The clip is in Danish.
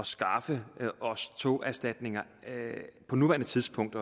skaffe os togerstatninger på nuværende tidspunkt